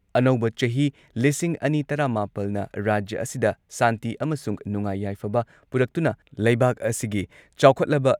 ꯑꯅꯧꯕ ꯆꯍꯤ ꯂꯤꯁꯤꯡ ꯑꯅꯤ ꯇꯔꯥꯃꯥꯄꯜꯅ ꯔꯥꯖ꯭ꯌ ꯑꯁꯤꯗ ꯁꯥꯟꯇꯤ ꯑꯃꯁꯨꯡ ꯅꯨꯡꯉꯥꯏ ꯌꯥꯏꯐꯕ ꯄꯨꯔꯛꯇꯨꯅ ꯂꯩꯕꯥꯛ ꯑꯁꯤꯒꯤ ꯆꯥꯎꯈꯠꯂꯕ